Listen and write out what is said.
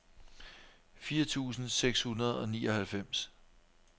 fire tusind seks hundrede og nioghalvfems